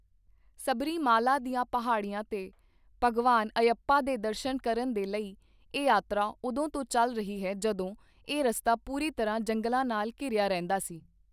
ਸਬਰੀਮਾਲਾ ਦੀਆਂ ਪਹਾੜੀਆਂ ਤੇ ਭਗਵਾਨ ਅਯੱਪਾ ਦੇ ਦਰਸ਼ਨ ਕਰਨ ਦੇ ਲਈ ਇਹ ਯਾਤਰਾ ਉਦੋਂ ਤੋਂ ਚਲ ਰਹੀ ਹੈ, ਜਦੋਂ ਇਹ ਰਸਤਾ ਪੂਰੀ ਤਰ੍ਹਾਂ ਜੰਗਲਾਂ ਨਾਲ ਘਿਰਿਆ ਰਹਿੰਦਾ ਸੀ।